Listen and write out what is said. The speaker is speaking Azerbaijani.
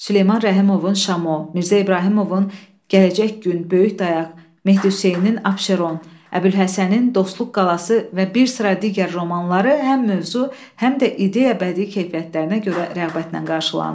Süleyman Rəhimovun Şamo, Mirzə İbrahimovun Gələcək Gün, Böyük Dayaq, Mehdi Hüseynin Abşeron, Əbülhəsənin Dostluq qalası və bir sıra digər romanları həm mövzu, həm də ideya-bədii keyfiyyətlərinə görə rəğbətlə qarşılandı.